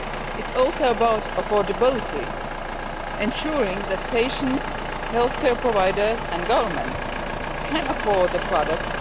It is also about affordability ensuring that patients, healthcare providers and governments can afford the products